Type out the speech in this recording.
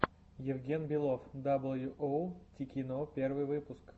евген белов дабл ю оу тикино первый выпуск